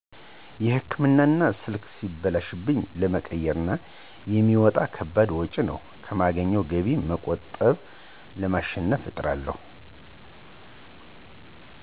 የህክምና እና ስልክ ሲበላሺብኝ ለመቀየር የሚወጣ ከባድ ወጭ ነው። ከማገኝው ገቢ በመቆጠብ ለማሸነፍ እጥራለው።